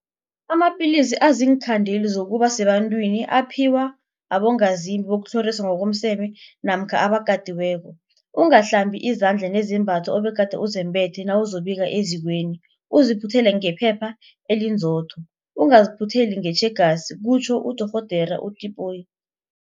Amapilisi aziinkhandeli zokuba sebantwini aphiwa abongazimbi bokutlhoriswa ngokomseme namkha abakatiweko. Ungahlambi izandla nezembatho obegade uzembethe nawuzokubika ezikweni, uziphuthele ngephepha elinzotho, ungaziphutheli ngetjhegasi kutjho uDorh Tipoy.